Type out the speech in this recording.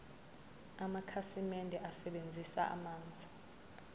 amakhasimende asebenzisa amanzi